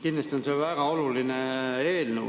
Kindlasti on see väga oluline eelnõu.